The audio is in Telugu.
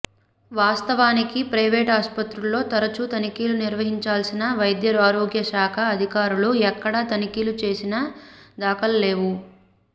వాస్తవానికి ప్రైవేట్ ఆస్పత్రుల్లో తరచూ తనిఖీలు నిర్వహించాల్సిన వైద్యారోగ్య శాఖ అధికారులు ఎక్కడా తనిఖీలు చేసిన దాఖలాల్లేవు